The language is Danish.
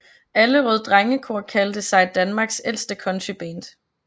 Allerød Drengekor kaldte sig Danmarks ældste countryband